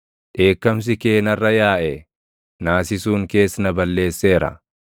Dheekkamsi kee narra yaaʼe; naasisuun kees na balleesseera.